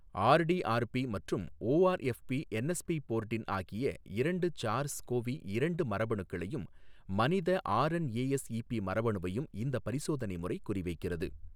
RdRp மற்றும் ORFb என்எஸ்பிபோர்டின் ஆகிய இரண்டு சார்ஸ் கோவி இரண்டு மரபணுக்களையும் மனித ஆர்என்ஏஎஸ்ஈபி மரபணுவையும் இந்த பரிசோதனை முறை குறி வைக்கிறது.